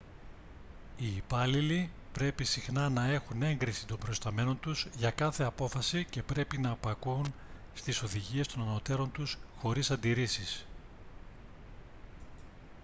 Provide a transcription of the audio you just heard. οι υπάλληλοι πρέπει συχνά να έχουν έγκριση των προϊσταμένων τους για κάθε απόφαση και πρέπει να υπακούουν στις οδηγίες των ανωτέρων τους χωρίς αντιρρήσεις